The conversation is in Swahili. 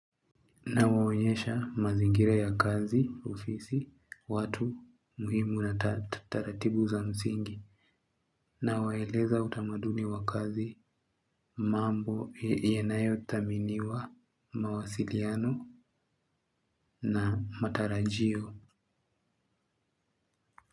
Nawaonyesha mazingira ya kazi, ofisi, watu muhimu na taratibu za msingi na waeleza utamaduni wa kazi mambo yanayo taminiwa mawasiliano na matarajio.